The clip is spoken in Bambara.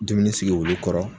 Dumuni sigi wulu kɔrɔ